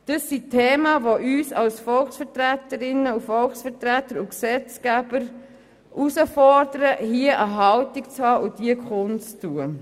Das sind Themen, die uns als Volksvertreterinnen und Volksvertreter und Gesetzesgeber herausfordern, hierzu eine Haltung zu haben und diese kundzutun.